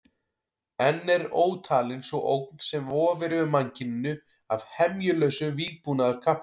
Enn er ótalin sú ógn sem vofir yfir mannkyninu af hemjulausu vígbúnaðarkapphlaupi.